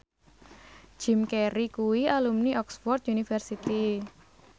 Jim Carey kuwi alumni Oxford university